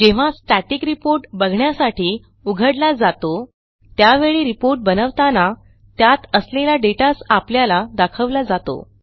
जेव्हा static report बघण्यासाठी उघडला जातो त्यावेळी रिपोर्ट बनवताना त्यात असलेला dataच आपल्याला दाखवला जातो